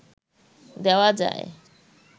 দেওয়া যায়